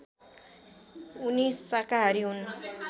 उनी शाकाहारी हुन्